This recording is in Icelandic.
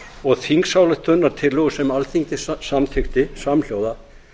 og þingsályktunartillögu sem alþingi samþykkti samhljóða